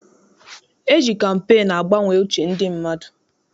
E ji kampeenu agbanwe uche ndị mmadụ.